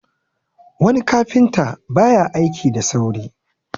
wani kafinta ba ya aiki da saurin